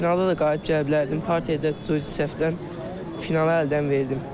Yarımfinalda da qalib gələ bilərdim, partiyada cüzi səhvdən finalı əldən verdim.